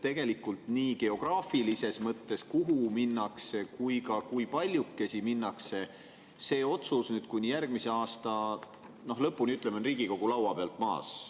Tegelikult on see otsus nii geograafilises mõttes, kuhu minnakse, ja kui paljukesi minnakse, nüüd kuni järgmise aasta lõpuni, ütleme, Riigikogu laua pealt maas.